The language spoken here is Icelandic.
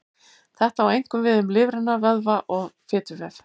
Þetta á einkum við um lifrina, vöðva og fituvef.